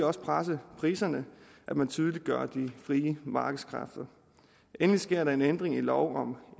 også presse priserne at man tydeliggør de frie markedskræfter endelig sker der en ændring i lov om